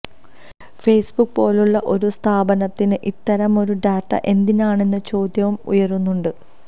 Facebook പോലുള്ള ഒരു സ്ഥാപനത്തിന് ഇത്തരം ഒരു ഡാറ്റ എന്തിനാണെന്ന ചോദ്യവും ഉയരുന്നുണ്ട്